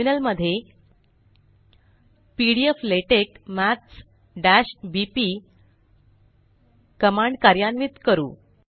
terminal मध्ये pdflatex maths बीपी command कार्यन्वित करू